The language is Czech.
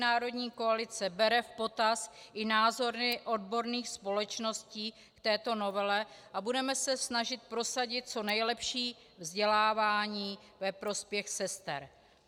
Národní koalice bere v potaz i názory odborných společností k této novele a budeme se snažit prosadit co nejlepší vzdělávání ve prospěch sester.